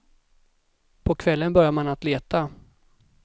På kvällen började man att leta.